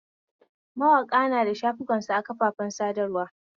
Mawaƙa nada shafukansu a kafafen sadarwa